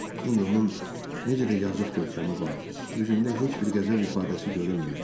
İndi onun necə də yazıq görkəmi vardı, üzündə heç bir qəzəb ifadəsi görünmürdü.